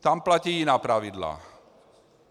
Tam platí jiná pravidla.